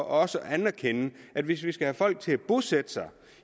også at anerkende at hvis vi skal have folk til at bosætte sig